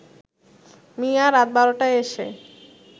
মিয়া, রাত ১২টায় এসে